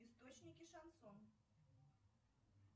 источники шансон